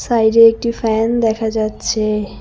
বাইরে একটি ফ্যান দেখা যাচ্ছে।